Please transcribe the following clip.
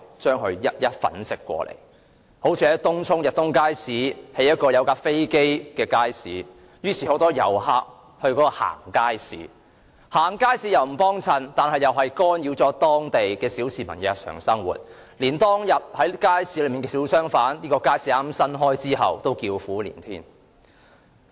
以東涌的逸東邨街市為例，領展在街市設立飛機模型，吸引很多遊客前往參觀，但他們只是參觀街市並無光顧，干擾了當區小市民的日常生活，就是在街市開張後開業的小商販，現在也叫苦連天。